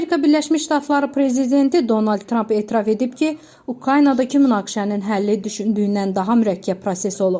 Amerika Birləşmiş Ştatları prezidenti Donald Tramp etiraf edib ki, Ukraynadakı münaqişənin həlli düşündüyündən daha mürəkkəb proses olub.